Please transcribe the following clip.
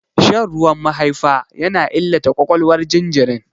Shan ruwan mahaifa yana illata ƙwaƙwalwar jinjirin.